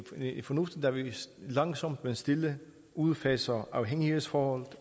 er fornuftigt da vi langsomt og stille udfaser afhængighedsforholdet